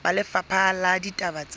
ba lefapha la ditaba tsa